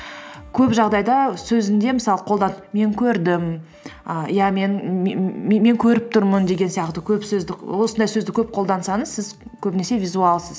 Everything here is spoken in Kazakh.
көп жағдайда сөзінде мысалы мен көрдім і иә мен мен көріп тұрмын деген сияқты көп сөзді осындай сөзді көп қолдансаңыз сіз көбінесе визуалсыз